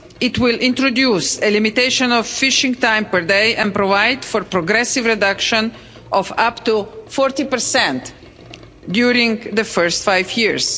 It will introduce a limitation on fishing time per day and provide for a progressive reduction of up to 40 during the first five years.